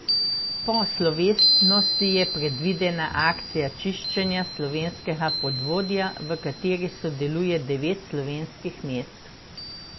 Po slovesnosti je predvidena akcija čiščenja slovenskega podvodja, v kateri sodeluje devet slovenskih mest.